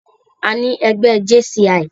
Àní ẹgbẹ́ JCI.